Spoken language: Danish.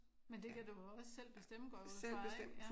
Men det kan du vel også selv bestemme går jeg ud fra ik?